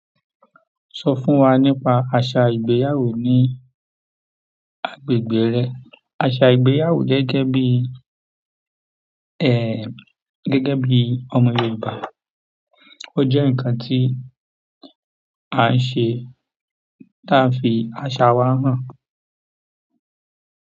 Sọ fún wa nípa àṣà ìgbéyàwó ní agbègbè rẹ. Àṣà ìgbéyàwó gẹ́gẹ́ bí, gẹ́gẹ́ bí ọmọ Yorùbá ó jẹ́ nǹkan tí a ń ṣe táà ń fi àṣà wa hàn.